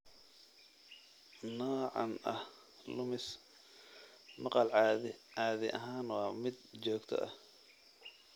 Noocan ah lumis maqal caadi ahaan waa mid joogto ah.